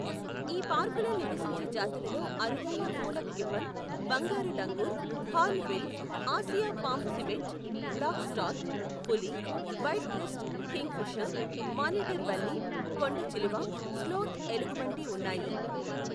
ఈ పార్కులో నివసించే జాతులలో అరుదైన హూలాక్ గిబ్బన్, బంగారు langur, hornbill, Asia palm civet, black stork, పులి, white breast kingfisher, monitor బల్లి, కొండచిలువ, స్లోత్ ఎలుగుబంటి ఉన్నాయి.